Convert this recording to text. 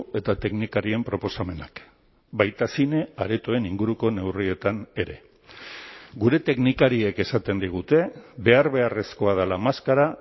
eta teknikarien proposamenak baita zine aretoen inguruko neurrietan ere gure teknikariek esaten digute behar beharrezkoa dela maskara